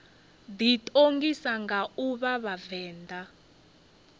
ḓiṱongisa nga u vha vhavenḓa